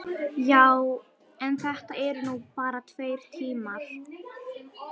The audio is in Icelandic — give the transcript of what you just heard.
Já, en þetta eru nú bara tveir tímar.